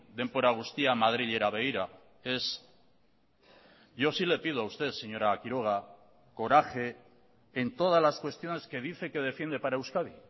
denbora guztia madrilera begira ez yo sí le pido a usted señora quiroga coraje en todas las cuestiones que dice que defiende para euskadi